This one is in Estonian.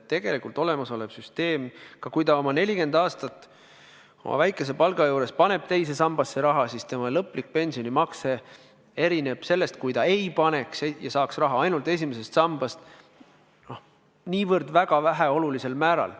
Tegelikult on olemasolev süsteem selline, et kui inimene umbes 40 aastat oma väikese palga juures paneb teise sambasse raha, siis tema lõplik pensionimakse erineb sellest, kui ta saaks raha ainult esimesest sambast, väga väikesel määral.